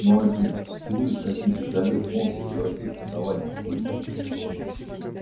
но один всего лишь один звездолёт может превратить основание в пыль